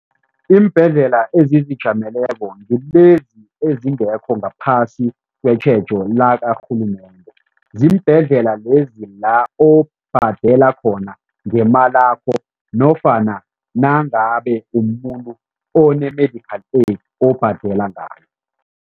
Iimbhedlela ezizijameleko ngilezi ezingekho ngaphasi kwetjhejo lakarhulumende. Ziimbhedlela lezi la obhadela khona ngemalakho nofana nangabe umuntu one-medical aid obhadela ngayo.